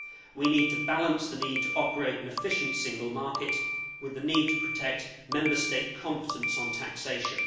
We need to balance the need to operate an efficient single market with the need to protect Member State competence on taxation.